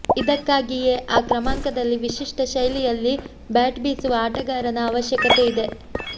ಇದಕ್ಕಾಗಿಯೆ ಆ ಕ್ರಮಾಂಕದಲ್ಲಿ ವಿಶಿಷ್ಠ ಶೈಲಿಯಲ್ಲಿ ಬ್ಯಾಟ್ ಬೀಸುವ ಆಟಗಾರನ ಅವಶ್ಯಕತೆಯಿದೆ